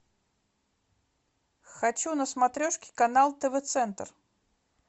хочу на смотрешке канал тв центр